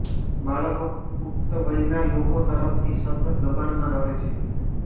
બાળક પુખ્ત વયના લોકો તરફથી સતત દબાણમાં રહે છે